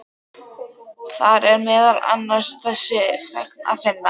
Þar er meðal annars þessa fregn að finna